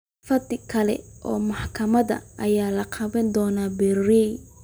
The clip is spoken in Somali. Fadhi kale oo maxkamadeed ayaa la qaban doonaa berri.